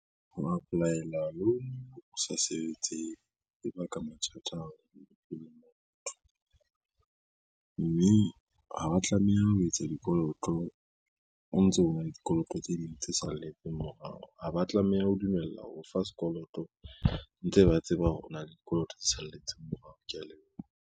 Ho apply-ela loan o sa sebetse e baka mathata bophelong ba motho, mme ha wa tlameha ho etsa dikoloto o ntso o na le dikoloto tse ding tse salletseng morao. Ha ba tlameha ho dumella ho o fa sekoloto ntse ba tseba hore o na le dikoloto tse salletseng morao, kea leboha.